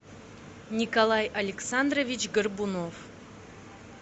николай александрович горбунов